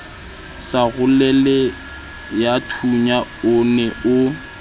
sa roleleyathunya o ne o